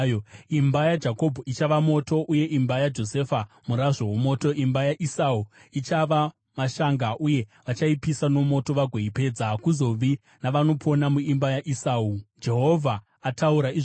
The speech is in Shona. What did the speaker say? Imba yaJakobho ichava moto, uye imba yaJosefa murazvo womoto; imba yaEsau ichava mashanga, uye vachaipisa nomoto vagoipedza. Hakuzovi navanopona muimba yaEsau.” Jehovha ataura izvozvo.